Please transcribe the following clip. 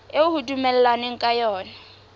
eo ho dumellanweng ka yona